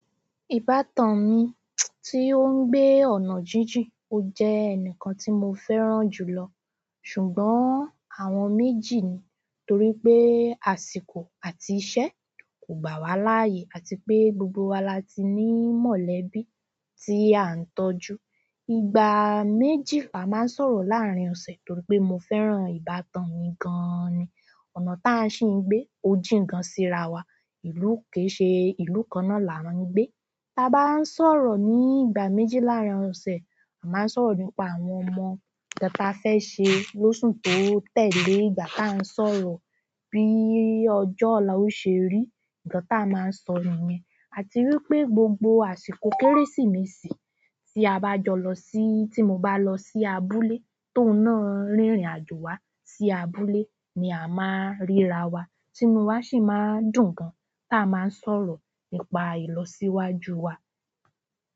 Ìbátan mi tí ó ń gbé ọ̀nà jíjìn ó jẹ́ ẹnìkan tí mo fẹ́ràn jùlọ. Ṣùgbọ́n àwọn méjì ni, torí pé àsìkò àti iṣẹ́ kò gbà wá láààyè àti pé gbogbo wa láti ní mọ̀lẹ́bí tí à ń tọ́jú. Ìgbà méjì là má sọ̀rọ̀ láàárín ọ̀sẹ̀ torí pé mo fẹ́ràn ìbátan mi gan ni. Ọ̀nà tà ń sì ń gbé, ojìń gan sí ra wa. Ìlú, kè se ìlú kanna láwà ń gbé bá bá ń sọ̀rọ̀ ní ìgbà méjì láàárín ọ̀sẹ̀, à má ń sọ̀rọ̀ nípa àwọn ọmọ, ta ba fẹ́ ṣe lóṣù tó tẹ̀lé, ìgbà ta a ń sọ̀rọ̀ bí ọjọ́ ọ̀la ó ṣe rí, ǹkan ta a máa ń sọ nìyẹn. A ti wi pé gbogbo àsìkò kérésìmesì tí a bá jọ lọ sí-- tí mo bá lọ sí abúlé tóù náá rìnrìn àjò wá sí abúlé ni a máa ń ríra wa, tínú wa sì máa dùn gan ta máa ń sọ̀rọ̀ nípa ìlọsíwájú wa.